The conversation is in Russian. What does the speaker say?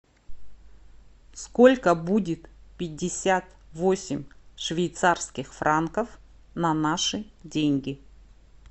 сколько будет пятьдесят восемь швейцарских франков на наши деньги